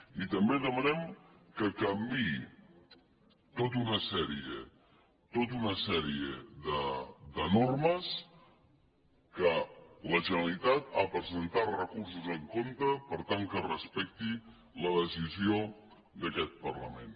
i també demanem que canviï tota una sèrie tota una sèrie de normes que la generalitat hi ha presentat recursos en contra per tant que es respecti la decisió d’aquest parlament